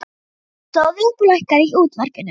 Hún stóð upp og lækkaði í útvarpinu.